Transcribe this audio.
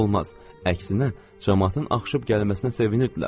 Əksinə, camaatın axışıb gəlməsinə sevinirdilər.